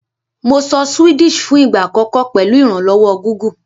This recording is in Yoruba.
Mo sọ Swedish fún ìgbà àkọ́kọ́ pèlu ìrànlówó Google